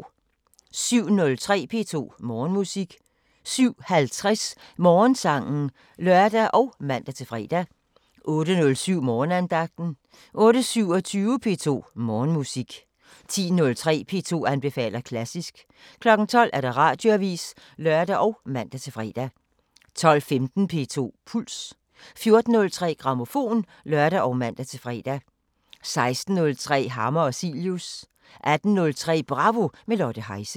07:03: P2 Morgenmusik 07:50: Morgensangen (lør og man-fre) 08:07: Morgenandagten 08:27: P2 Morgenmusik 10:03: P2 anbefaler klassisk 12:00: Radioavisen (lør og man-fre) 12:15: P2 Puls 14:03: Grammofon (lør og man-fre) 16:03: Hammer og Cilius 18:03: Bravo – med Lotte Heise